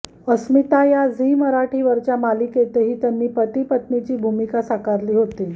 अस्मिता या झी मराठी वरच्या मालिकेतही त्यांनी पतीपत्नीची भूमिका साकारली होती